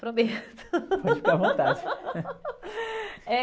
Prometo. ode ficar à vontade.